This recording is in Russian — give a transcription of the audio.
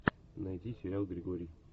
найди сериал григорий